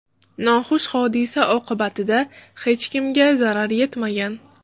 Noxush hodisa oqibatida hech kimga zarar yetmagan.